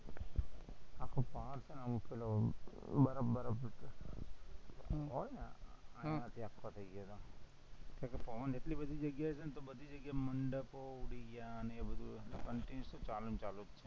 તાર છે ને આમ પેલો બરફ બરફ હમ હોય ને આમ હમ થઇ ગયો તો પવન એટલી બધી જગ્યાએ છે ને તો બધી જગ્યાએ મંડપો ઉડી ગયા ને બધું continuous ચાલુ ને ચાલુ